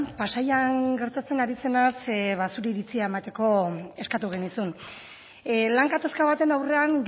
pasaian gertatzen ari zenaz zure iritzia emateko eskatu genizun lan gatazka baten aurrean